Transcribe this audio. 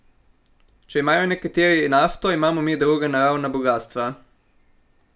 Če imajo nekateri nafto, imamo mi druga naravna bogastva.